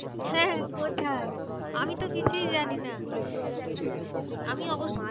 হ্যাঁ কোথায়? আমি তো কিছুই জানি না। আমি অবশ্য